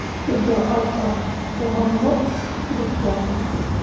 Si daacad ah u hadlo, Felix waa Felix.